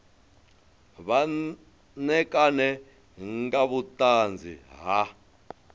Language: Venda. vha ṋekane nga vhuṱanzi ha